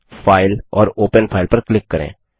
file और open file पर click करें